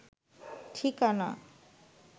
ঠিকানা